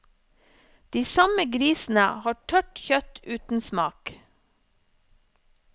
De samme grisene har tørt kjøtt uten smak.